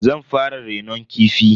Zan fara renon kifi.